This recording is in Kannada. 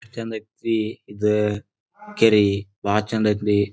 ಚೆಂದ ಅಯ್ತ್ನಿ ಇದ್ ಕೆರಿ ಬಹಳ ಚೆಂದ ಐತ್ರಿ.